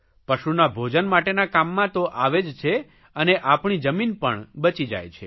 પશુના ભોજન માટેના કામમાં તો આવે જ છે અને આપણી જમીન પણ બચી જાય છે